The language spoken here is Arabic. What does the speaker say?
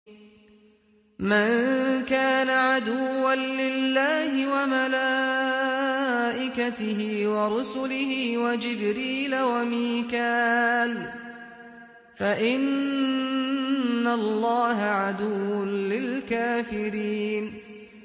مَن كَانَ عَدُوًّا لِّلَّهِ وَمَلَائِكَتِهِ وَرُسُلِهِ وَجِبْرِيلَ وَمِيكَالَ فَإِنَّ اللَّهَ عَدُوٌّ لِّلْكَافِرِينَ